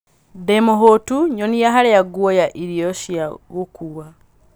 ndī mūhūtu nyonia harīa nguoya irio cia gūkuwa